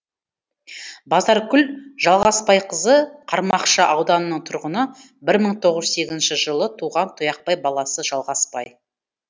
базаркүл жалғасбайқызы қармақшы ауданының тұрғыны бір мың тоғыз жүз сегізінші жылы туған тұяқбай баласы жалғасбай